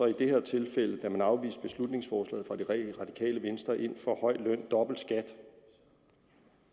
i det her tilfælde hvor man afviste beslutningsforslaget fra det radikale venstre ind for høj løn og dobbelt skat